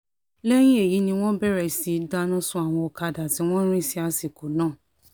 lẹ́yìn èyí ni wọ́n bẹ̀rẹ̀ sí í dáná sun àwọn ọ̀kadà tí wọ́n rìn sí àsìkò náà